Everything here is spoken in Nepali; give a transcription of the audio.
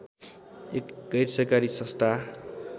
एक गैरसरकारी संस्था